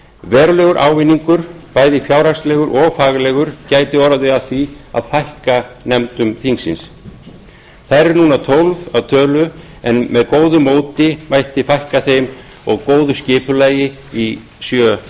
verulegur ávinningur bæði fjárhagslegur og faglegur gæti orðið af því að fækka þeim þær eru núna tólf að tölu en með góðu móti mætti fækka þeim í sjöunda